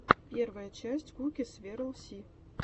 первая часть куки сверл си